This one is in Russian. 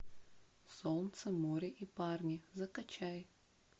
солнце море и парни закачай